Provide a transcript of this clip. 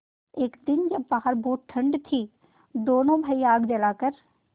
एक दिन जब बाहर बहुत ठंड थी दोनों भाई आग जलाकर